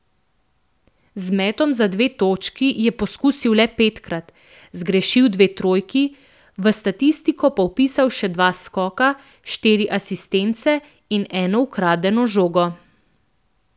Z metom za dve točki je poskusil le petkrat, zgrešil dve trojki, v statistiko pa vpisal še dva skoka, štiri asistence in eno ukradeno žogo.